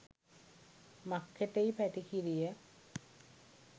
මක්කටෙයි පැටිකිරිය?